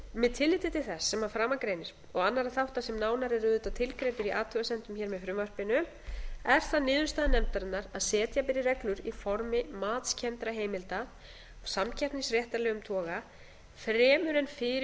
með tilliti til þess sem að framan greinir og annarra þátta sem nánar eru auðvitað tilgreindir í athugasemdum hér með frumvarpinu er það niðurstaða nefndarinnar að setja beri reglur í formi matskenndra heimilda af samkeppnisréttarlegum toga fremur en fyrir